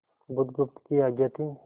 बुधगुप्त की आज्ञा थी